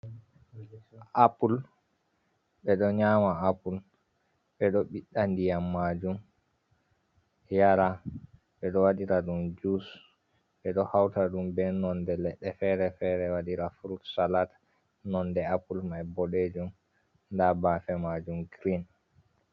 Apple ɓe ɗo nyama apple ɓeɗo ɓiɗɗa ndiyam majum yara, ɓeɗo waɗira ɗum jus, ɓeɗo hauta ɗum be nonde leɗɗe fere-fere wadira frut salat, nonde apple mae bodejum nda bafe majum green.